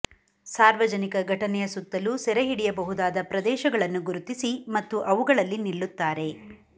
ಸಾರ್ವಜನಿಕ ಘಟನೆಯ ಸುತ್ತಲೂ ಸೆರೆಹಿಡಿಯಬಹುದಾದ ಪ್ರದೇಶಗಳನ್ನು ಗುರುತಿಸಿ ಮತ್ತು ಅವುಗಳಲ್ಲಿ ನಿಲ್ಲುತ್ತಾರೆ